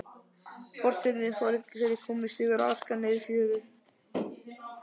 Forsetinn fer í gúmmístígvél og arkar niður í fjöru.